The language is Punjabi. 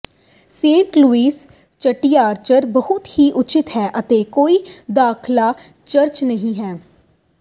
ਸੇਂਟ ਲੂਈਜ਼ ਚਿੜੀਆਘਰ ਬਹੁਤ ਹੀ ਉੱਚਿਤ ਹੈ ਅਤੇ ਕੋਈ ਦਾਖਲਾ ਚਾਰਜ ਨਹੀਂ ਹੈ